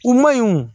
U ma ɲi o